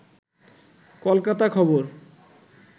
কলকাতা খবর